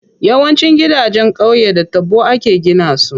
Yawancin gidanjen qauye da taɓo ake gina su.